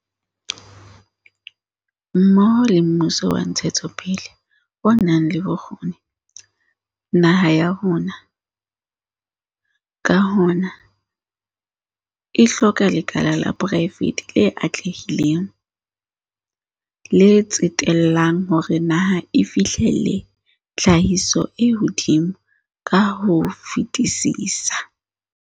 Mmoho le mmuso wa ntshetsopele o nang le bokgoni, naha ya rona, ka hona, e hloka lekala la poraefete le atlehileng, le tsetellang hore naha e fihlelle tlhahiso e hodimo ka ho fetisisa.